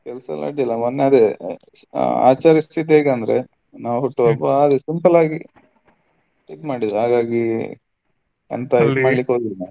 ಕೆಲಸ ಎಲ್ಲ ಅಡ್ಡಿ ಇಲ್ಲ ಮೊನ್ನೆ ಅದೇ ಆಚರಿಸಿದ್ದು ಹೇಗೆ ಅಂದ್ರೆ ಆ ಹುಟ್ಟುಹಬ್ಬ ಅದೇ ಸಿಂಪಲ್ ಆಗಿ ಇದು ಮಾಡಿದ್ದು ಹಾಗಾಗಿ .